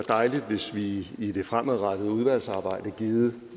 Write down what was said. dejligt hvis vi i det fremadrettede udvalgsarbejde givet